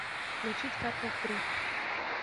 включить карпов три